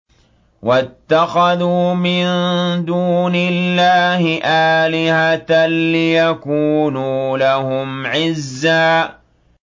وَاتَّخَذُوا مِن دُونِ اللَّهِ آلِهَةً لِّيَكُونُوا لَهُمْ عِزًّا